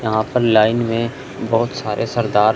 यहां पर लाइन में बहुत सारे सरदार--